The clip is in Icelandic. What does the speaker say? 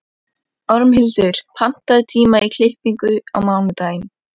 Ormhildur, pantaðu tíma í klippingu á mánudaginn.